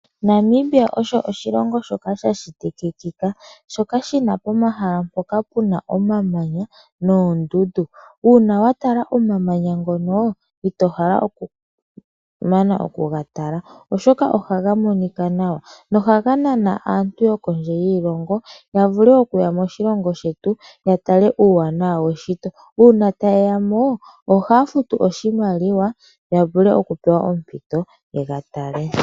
Namibia osho oshilongo shoka shashitikikika shoka shina pomahala mpoka puna omamanya noondudu uuna watala omamanya ngono ito hala okumana okuga tala oshoka ohaga monika nawa noha ga nana aantu yokondje yiilongo yavule okuya moshilongo shetu yatale uuwanawa weshito uuna tayeyamo ohaa futu oshimaliwa ya vule oku pewa ompito yega tale.